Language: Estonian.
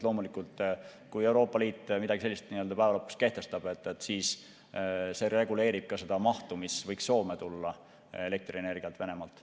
Loomulikult, kui Euroopa Liit midagi sellist nii-öelda päeva lõpuks kehtestab, siis see reguleerib ka seda mahtu, kui palju võiks Soome tulla elektrienergiat Venemaalt.